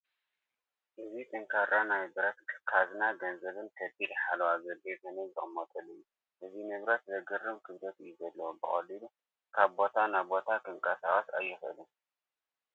እዚ ጠንካራ ናይ ብረት ካዝና ገንዘብን ከቢድ ሓለዋ ዘድልዮ ሰነድ ዝቕመጠሉ እዩ፡፡ እዚ ንብረት ዘግርም ክብደት እዩ ዘለዎ፡፡ ብቐሊሉ ካብ ቦታ ናብ ቦታ ክንቀሳቐስ ኣይኽእልን፡፡